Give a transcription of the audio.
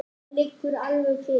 Það liggur alveg fyrir.